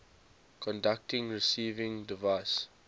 conducting receiving device